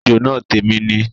Ejò náà tèmi ni